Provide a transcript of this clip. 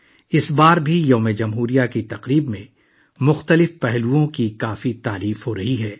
اس بار بھی یوم جمہوریہ کی تقریبات کے کئی پہلوؤں کی خوب تعریف کی جا رہی ہے